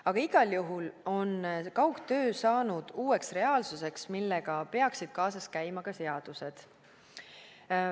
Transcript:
Aga igal juhul on kaugtöö saanud uueks reaalsuseks, millega peaksid kaasas käima ka seadused.